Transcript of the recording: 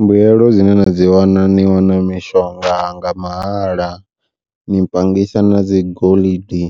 Mbuyelo dzine na dzi wana ni wana mishonga nga mahala, ni panngisa na dzi goḽidi